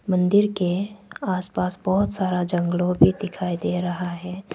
मंदिर के आस पास बहुत सारा जंगलो भी दिखाई दे रहा है।